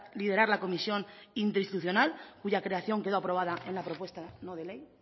liderar la comisión interinstitucional cuya creación quedó aprobada en la propuesta no de ley